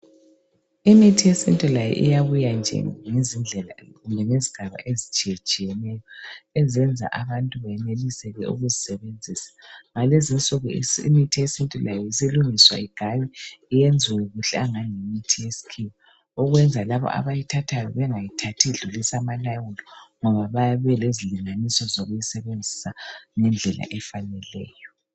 Imithi yesintu layo iyabuya nje ngezindlela, ngezigaba nje eziitshiyetshiyeneyo. Ezenza i abantu benelise ukuyisebenzisa. lNgalezi insuku imithi yesintu layo isilungiswa igaywe, ilungiswe kuhle, angathi yimithi yesikhiwa. Ukwenzela ukuthi lalabo abayithathayo, bayithathe, bengadlulisi amalawulo, ngoba bayabe belezilinganiso zokuyisebenzisa ngendlela efaneleyo.